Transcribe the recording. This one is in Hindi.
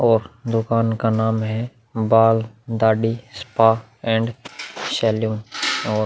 और दुकान का नाम है बाल दाड़ी स्पा एंड सैलू --